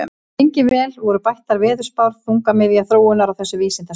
Lengi vel voru bættar veðurspár þungamiðja þróunar á þessu vísindasviði.